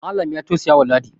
Malam ya taussaya wa ladi